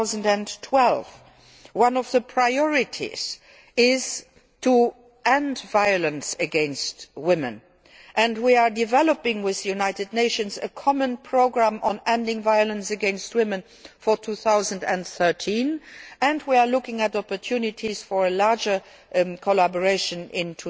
in 2012. One of the priorities is to end violence against women, we are developing with the United Nations a common programme on ending violence against women for 2013 and we are looking at opportunities for a wider collaboration